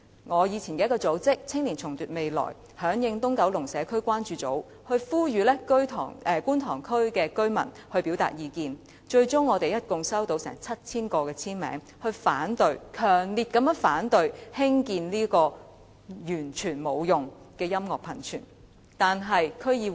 我以往的組織"青年重奪未來"響應"東九龍社區關注組"，呼籲觀塘居民表達意見，最終共收到約 7,000 個簽名，是強烈反對興建這個毫無用處的音樂噴泉。